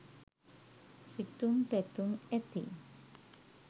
සිතුම් පැතුම් ඇති